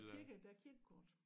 Kirke der er kirkekor